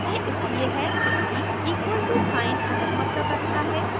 यह इसलिए है क्योंकि equal to साइन अलग मतलब रखता है